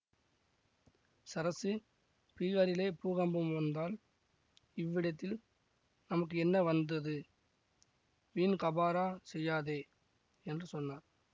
சரசு பீகாரிலே பூகம்பம் வந்தால் இவ்விடத்தில் நமக்கு என்ன வந்தது வீண் காபரா செய்யாதே என்று சொன்னார்